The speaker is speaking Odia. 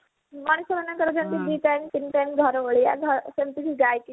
ମଣିଷ ମାନଙ୍କର ଦି time ତିନି time ଘର ଓଳେଇବା ସେମିତି କି ଗାଇକି